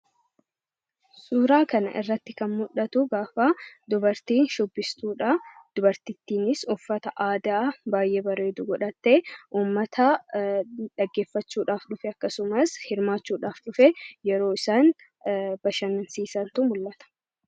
Suuraa kanarratti kan mul'atu gaafa dubartiin shubbistudha. Dubartittiinis gaafa uffata aadaa baay'ee bareedu godhatee, uummata dhaggeeffachuu dhufe akkasumas hirmaachuudhaaf dhufe yeroo isaan bashannansiisantu mul'ata.